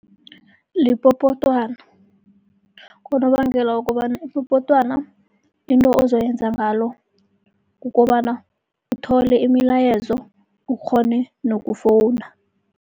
Lipopotwana, ngonobangela wokobana ipopotwana into ozoyenza ngalo, kukobana uthole imilayezo ukghone nokufowuna.